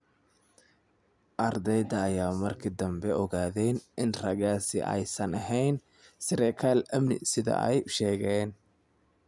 Ardeyda ayaa markii dambe ogaaday in raggaasi aysan ahayn saraakiil amni sida ay u sheegeen.